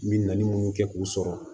N min kɛ k'u sɔrɔ